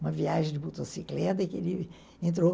Uma viagem de motocicleta que ele entrou.